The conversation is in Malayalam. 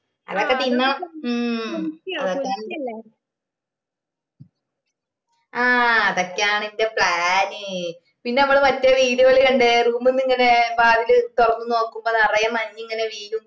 അതൊക്കെ തിന്നാ ഹും ആഹ് അതോക്കെയാണ് എന്റെ plan പിന്നെ മ്മളെ മറ്റേ video ല് കണ്ടേ room ന്ന് ഇങ്ങനെ വാതിൽ തുറന്ന് നോക്കുമ്പോ നിറയെ മഞ്ഞിങ്ങനെ വീഴും